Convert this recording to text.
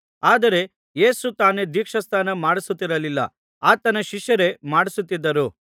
ಆದರೆ ಯೇಸು ತಾನೇ ದೀಕ್ಷಾಸ್ನಾನ ಮಾಡಿಸುತ್ತಿರಲಿಲ್ಲ ಆತನ ಶಿಷ್ಯರೇ ಮಾಡಿಸುತ್ತಿದ್ದರು